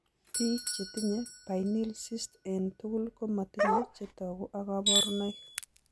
Biik chetinye pineal cysts eng' tugul komatinye chetogu ak kaborunoik